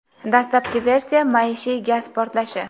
Dastlabki versiya — maishiy gaz portlashi.